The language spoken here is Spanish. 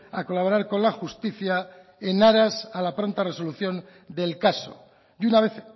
a colaborar con la justicia en aras a la pronta resolución del caso y una vez